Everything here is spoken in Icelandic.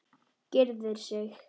Gyrðir sig.